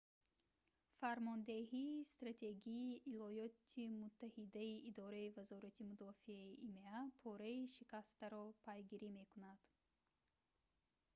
фармондеҳии стратегии иёлоти муттаҳидаи идораи вазорати мудофиаи има пораи шикастаро пайгирӣ мекунад